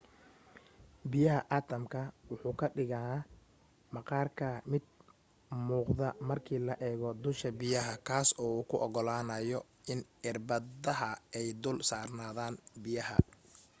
biyaha atamka wuxuu ka dhigan maqaarka mid muuqda marka la eego dusha biyaha kaas oo u ogolaanyo in irbadaha ay dul saarnaadan biyaha